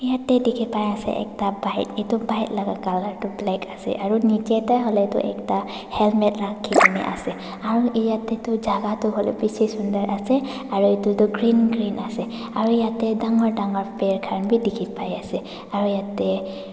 jatte dekhi pai ase ekta bike etu bike laga colour tu black ase niche te hoile tu ekta helmet rakhi kini ase aru jatte tu jagah tu hoile bisi sunder ase aru etu tu green green ase aru jatte dagur peer khan bhi dekhi pai ase.